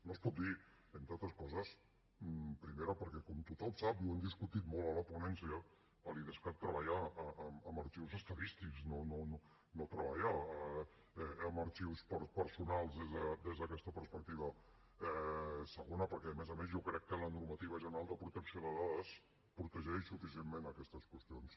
no es pot dir entre altres coses primera perquè com tothom sap i ho hem discutit molt a la ponència l’idescat treballa amb arxius estadístics no treballa amb arxius personals des d’aquesta perspectiva segona perquè a més a més jo crec que la normativa general de protecció de dades protegeix suficientment aquestes qüestions